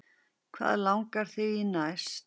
Hvað langar þig í næst?